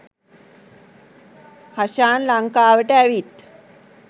හෂාන් ලංකාවට ඇවිත්